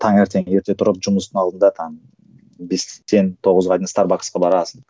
таңертең ерте тұрып жұмыстың алдында там бестен тоғызға дейін старбаксқа барасың